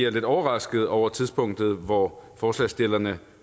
er lidt overrasket over tidspunktet hvor forslagsstillerne